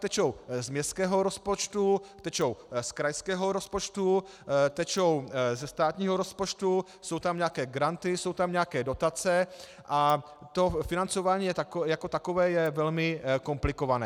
Tečou z městského rozpočtu, tečou z krajského rozpočtu, tečou ze státního rozpočtu, jsou tam nějaké granty, jsou tam nějaké dotace a to financování jako takové je velmi komplikované.